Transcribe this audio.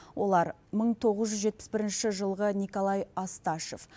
олар мың тоғыз жүз жетпіс бірінші жылғы николай асташов